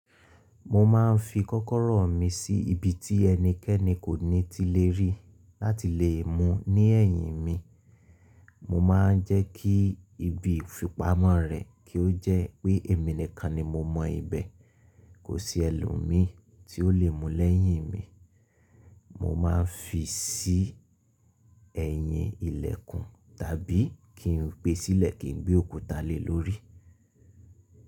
Mo máa ń fi kọ́kọ́rọ́ mi sí ibi tí ẹnikẹ́ni kò ní ti le ríi láti lè è mu ní ẹ̀yìn mi, mo máa ń jẹ́ kí ibi ìfipamọ́ rẹ̀ kí ó jẹ́ pé èmi nìkan ni mo mọ ibẹ̀, kò sí ẹlòmíí tí ó lè mu lẹ́yìn mi. Mo máa ń fi sí ẹ̀yìn ilẹ̀kùn tàbí kí n gbé e sílẹ̀ kí n gbé òkúta lée lórí.